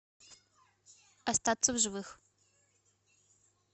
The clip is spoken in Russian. остаться в живых